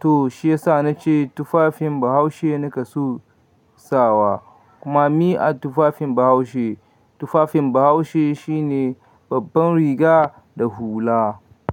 To shi yasa na ce tufafin Bahaushe naka so sawa. Kuma mi'a tufafin Bahaushe. Tufafin Bahaushe shine babban riga da hula.